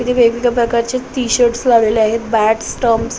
वेगवेगळ्या प्रकारचे टि-शर्ट लावलेले आहेत बॅटस स्टम्प्स --